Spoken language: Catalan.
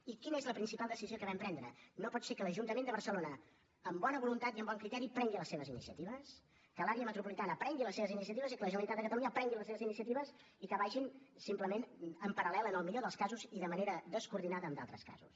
i quina és la principal decisió que vam prendre no pot ser que l’ajuntament de barcelona amb bona voluntat i amb bon criteri prengui les seves iniciatives que l’àrea metropolitana prengui les seves iniciatives i que la generalitat de catalunya prengui les seves iniciatives i que vagin simplement en paral·lel en el millor dels casos i de manera descoordinada en d’altres casos